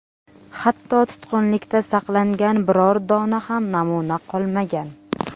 Hatto tutqunlikda saqlangan biror dona ham namuna qolmagan.